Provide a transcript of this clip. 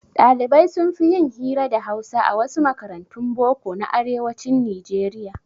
Ɗalibai sunfi yin hira da hausa a wasu makarantun boko na arewacin nijeriya